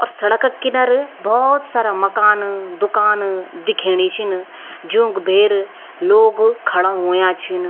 और सड़क किनर भोत सारा मकान दूकान दिखेणी छिन जूंक भेर लोग खड़ा हुयां छिन।